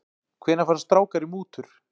Hvenær fara strákar í mútur?